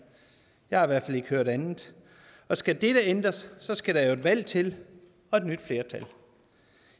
jeg har i hvert fald ikke hørt andet og skal dette ændres skal der jo et valg til og et nyt flertal